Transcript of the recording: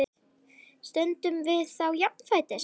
Stöndum við þá jafnfætis?